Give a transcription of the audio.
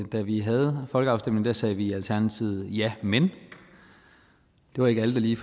da vi havde folkeafstemningen sagde vi i alternativet ja men det var ikke alle der lige